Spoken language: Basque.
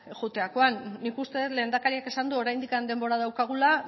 joaterakoan nik uste dut lehendakariak esan du oraindik denbora daukagula